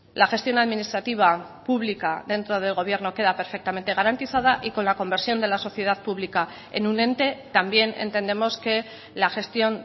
la gestión administrativa pública dentro del gobierno queda perfectamente garantizada y con la conversión de la sociedad pública en un ente también entendemos que la gestión